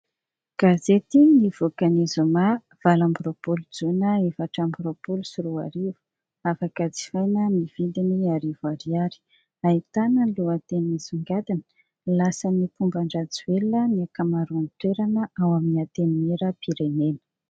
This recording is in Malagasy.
Gazety nivoaka ny zoma valo amby roapolo jona efatra amby roapolo sy roa arivo, afaka jifaina amin'ny vidiny arivo ariary. Ahitana ny lohateny misongadina : lasan'ny mpomban-dRajoelina ny ankamaroan'ny toerana ao amin'ny antenimierampirenena.